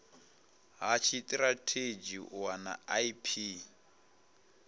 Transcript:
ha tshitirathedzhi u wana ip